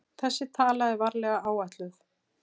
Þessi tala er varlega áætluð.